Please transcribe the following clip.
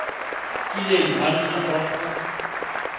kileng ba nna kwa go